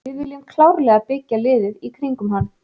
Við viljum klárlega byggja liðið í kringum hann.